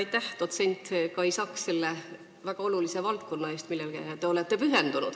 Aitäh, dotsent Kai Saks, selle eest, et te olete pühendunud sellele väga olulisele valdkonnale!